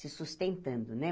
se sustentando, né?